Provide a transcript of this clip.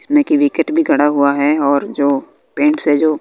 इसमें कि विकेट भी खड़ा हुआ है और जो पेंट्स है जो--